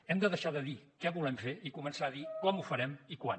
hem de deixar de dir què volem fer i començar a dir com ho farem i quan